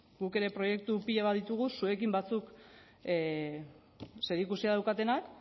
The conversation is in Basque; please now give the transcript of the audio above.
guk ere proiektu pilo bat ditugu zuekin batzuk zerikusia daukatenak